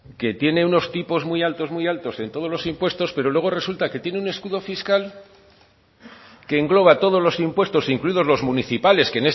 que tiene unos tipos muy altos muy altos en todos los impuestos pero luego resulta que tiene un escudo fiscal que engloba todos los impuestos incluidos los municipales que